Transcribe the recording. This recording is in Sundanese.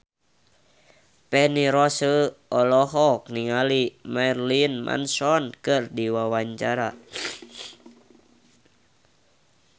Feni Rose olohok ningali Marilyn Manson keur diwawancara